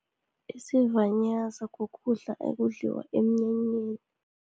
Isivanyaza ukudla, okudliwa emnyanyeni.